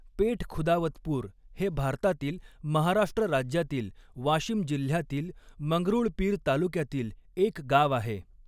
पेठखुदावतपूर हे भारतातील महाराष्ट्र राज्यातील वाशिम जिल्ह्यातील मंगरुळपीर तालुक्यातील एक गाव आहे.